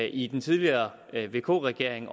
i den tidligere vk regering